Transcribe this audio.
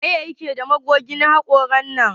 Waye ke da magogin hakoran nan?